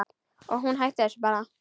Og hún hætti þessu bara.